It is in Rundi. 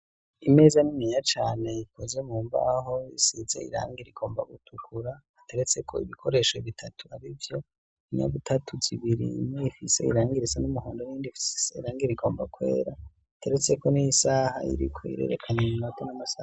Imeza niniya cane, ikoze mu mbaho isize irangi rigomba gutukura, iteretse ko ibikoresho bitatu, ari vyo inyabutatu zibiri ni ifise irangi risa n'umuhondo niyindi ifise irangi rigomba kwera iteretse ko n'iy'isaha iriko irerekana iminota namasaha,.